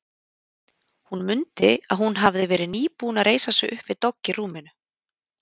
Hún mundi að hún hafði verið nýbúin að reisa sig upp við dogg í rúminu.